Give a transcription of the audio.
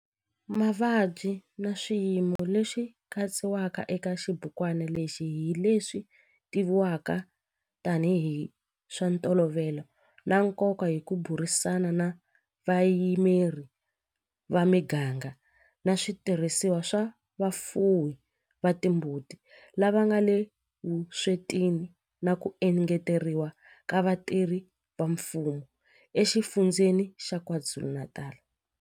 Mavabyi na swiyimo leswi katsiwaka eka xibukwana lexi hi leswi tivivwaka tanihi hi swa ntolovelo na nkoka hi ku burisana na vayimeri va miganga na switirhisiwa swa vafuwi va timbuti lava nga le vuswetini na ku engeteriwa ka vatirhi va mfumo eXifundzheni xa KwaZulu-Natal.